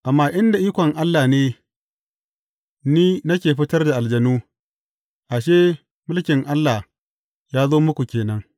Amma in da ikon Allah ne ni nake fitar da aljanu, ashe, mulkin Allah ya zo muku ke nan.